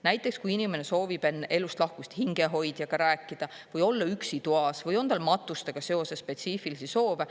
Näiteks, kui inimene soovib enne elust lahkumist hingehoidjaga rääkida või olla üksi toas või on tal matustega seoses spetsiifilisi soove.